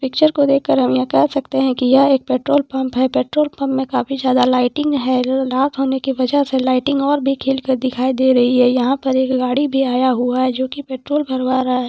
Picture को देखकर हम यह कह सकते हैं कि यह एक पेट्रोल पंप है पेट्रोल पंप में काफी ज़्यादा लाइटिंग है ल-रात होने की वजह से लाइटिंग और भी खिल कर दिखाई दे रही है यहां पर एक गाड़ी भी आया हुआ है जो कि पेट्रोल भरवा रहा है ।